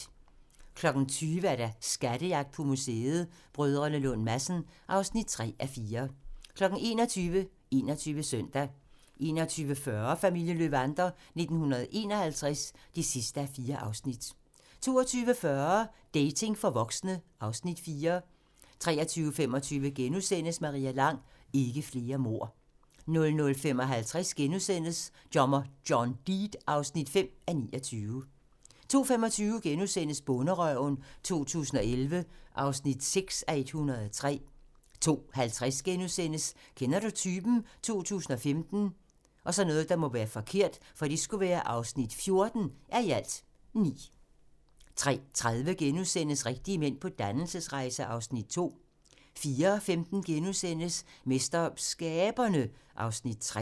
20:00: Skattejagt på museet: Brdr. Lund Madsen (3:4) 21:00: 21 Søndag 21:40: Familien Löwander 1951 (4:4) 22:40: Dating for voksne (Afs. 4) 23:25: Maria Lang: Ikke flere mord * 00:55: Dommer John Deed (5:29)* 02:25: Bonderøven 2011 (6:103)* 02:50: Kender du typen? 2015 (14:9)* 03:30: Rigtige mænd på dannelsesrejse (Afs. 2)* 04:15: MesterSkaberne (Afs. 3)*